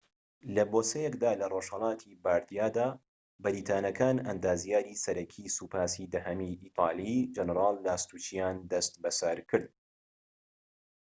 لە بۆسەیەکدا لە ڕۆژهەڵاتی باردیادا بەریتانیەکان ئەندازیاری سەرەکیی سوپاسی دەهەمی ئیتاڵی جەنەرال لاستوچییان دەست بەسەرکرد